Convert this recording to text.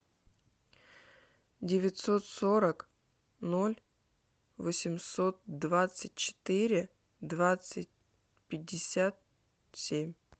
девятьсот сорок ноль восемьсот двадцать четыре двадцать пятьдесят семь